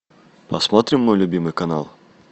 посмотрим мой любимый канал